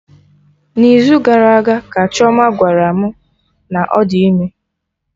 N'izu gara aga ka Chioma gwara mụ na ọ dị ime